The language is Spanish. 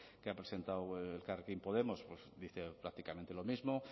que ha presentado elkarrekin podemos dice prácticamente lo mismo